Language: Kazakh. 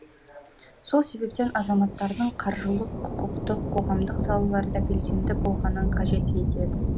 сол себептен азаматтардың қаржылық құқықтық қоғамдық салаларда белсенді болғанын қажет етеді